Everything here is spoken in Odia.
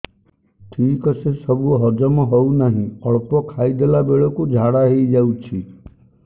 ଠିକସେ ସବୁ ହଜମ ହଉନାହିଁ ଅଳ୍ପ ଖାଇ ଦେଲା ବେଳ କୁ ଝାଡା ହେଇଯାଉଛି